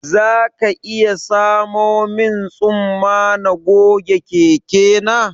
Za ka iya samo min tsumma na goge keke na